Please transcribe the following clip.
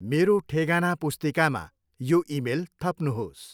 मेरो ठेगाना पुस्तिकामा यो इमेल थप्नुहोस्